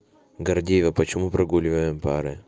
гордеева почему прогуливаем пары